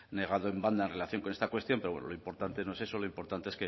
negado en banda en relación con esta cuestión pero lo importante no es eso lo importante es